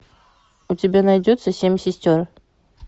у тебя найдется семь сестер